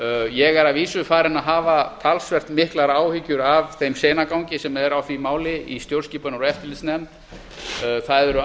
ég er að vísu farinn að hafa talsvert miklar áhyggjur af þeim seinagangi sem er á því máli í stjórnskipunar og eftirlitsnefnd það eru